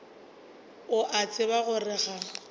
o a tseba gore ga